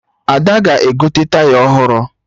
Ada ga-egote Taya ọhụrụ